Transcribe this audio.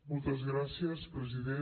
moltes gràcies president